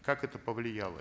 как это повлияло